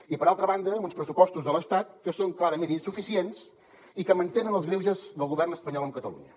i per altra banda amb uns pressupostos de l’estat que són clarament insuficients i que mantenen els greuges del govern espanyol amb catalunya